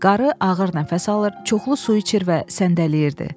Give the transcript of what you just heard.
Qarı ağır nəfəs alır, çoxlu su içir və səndələyirdi.